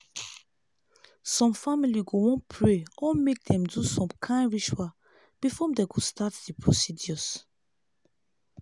some family go wan pray or mk dem do some kain rituals before dem go start the procedures